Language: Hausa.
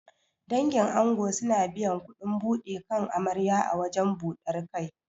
Dangin ango suna biyan kuɗin buɗe kan amarya a wajen ɓudar kai.